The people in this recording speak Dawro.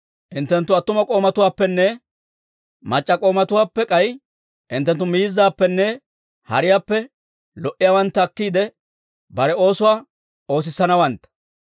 Hinttenttu attuma k'oomatuwaappenne mac'c'a k'oomatuwaappe, k'ay hinttenttu miizzaappenne hariyaappe lo"iyaawantta akkiide, bare oosuwaa oosissanawantta.